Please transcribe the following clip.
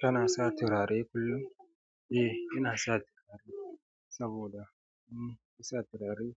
Kana sa turare kullum? Eh, ina sa turare saboda in ka sa turare